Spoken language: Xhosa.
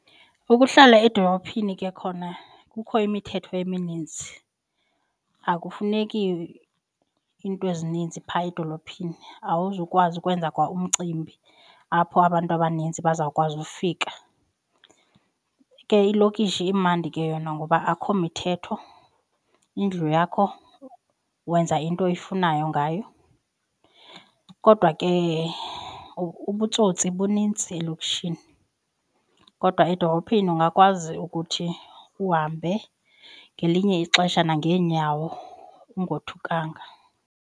Ukuhlala edolophini ke khona kukho imithetho emininzi, akufuneki iinto ezininzi phaa edolophini awuzukwazi ukwenza kwa umcimbi apho abantu abaninzi bazawukwazi ufika. Ke ilokishi imandi ke yona ngoba akho mithetho, indlu yakho wenza into oyifunayo ngayo. Kodwa ke ubutsotsi bunintsi elokishini. Kodwa edolophini ungakwazi ukuthi uhambe ngelinye ixesha nangeenyawo ungothukanga.